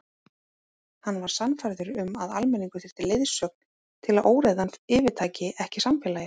Hann var sannfærður um að almenningur þyrfti leiðsögn til að óreiðan yfirtæki ekki samfélagið.